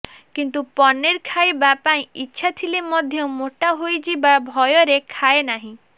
କିନ୍ତୁ ପନିର ଖାଇବା ପାଇଁ ଇଚ୍ଛା ଥିଲେ ମଧ୍ୟ ମୋଟା ହୋଇଯିବା ଭୟରେ ଖାଏ ନାହିଁ